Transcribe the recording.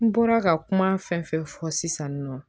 N bɔra ka kuma fɛn fɛn fɔ sisan nɔ